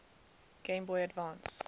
game boy advance